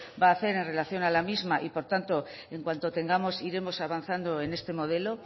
va a hacer en relación a la misma y por tanto en cuanto tengamos iremos avanzando en este modelo